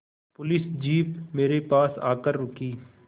police jeep मेरे पास आकर रुकी